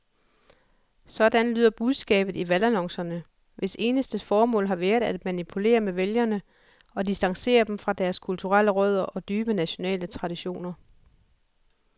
Sådan lyder budskabet i valgannoncerne, hvis eneste formål har været at manipulere med vælgere og distancere dem fra deres kulturelle rødder og dybe nationale traditioner.